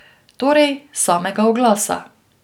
Torej, samega oglasa.